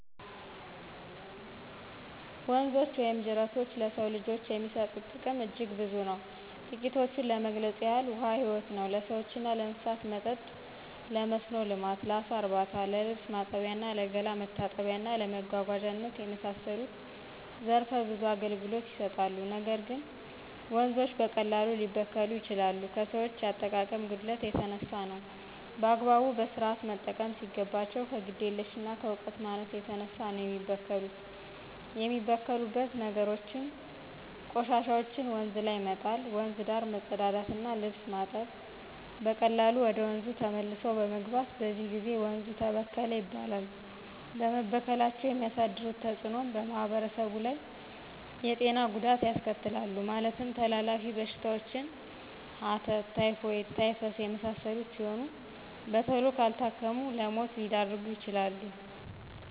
ወንዞች ወይም ጅረቶች ለሰው ልጆች የሚሰጡት ጥቅም አጅግ ብዙ ነው ትቂቶችን ለመግለጽ ያህል ውሀ ህይወት ነው ለሰዎችና ለእንስሳት መጠጥ :ለመስኖ ልማት: ለአሳ እርባታ :ለልብስ ማጠቢያ :ለገላ መታጠቢያና እና ለመጓጓዛነት የመሳሰሉት ዘረፈ ብዙ አገልግሎት ይሰጣሉ ነገር ግን ወንዞች በቀላሉ ሊበከሉ ይችላሉ ከሰዎች የአጠቃቀም ጉድለት የተነሳ ነው። በአግባቡ በስርአት መጠቀም ሲገባቸው ከግዴለሽነትና ከእውቀት ማነስ የተነሳ ነው የሚበከሉት የሚበክሉት ነገሮችም :ቆሻሻዎችን ወንዝ ላይ መጣል :ወንዝ ዳር መጸዳዳትና ልብስ ማጠብ በቀላሉ ወደ ወንዙ ተመልሶ በመግባት በዚህ ጊዜ ወንዙ ተበከለ ይባላል በመበከላቸው የሚያሳድሩት ተጽእኖ በማህበረሰቡ ላይ የጤና ጉዳት ያስከትላሉ ማለትም ተላላፊ በሽታዎችን ሐተት :ታይፎይድ :ታይፈስ የመሳሰሉት ሲሆኑ በተሎ ካልታከሙት ለሞት ሊዳርጉ ይችላሉ።